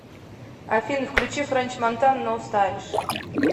афина включи френч монтана ноу стайлиш